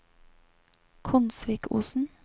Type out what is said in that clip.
Konsvikosen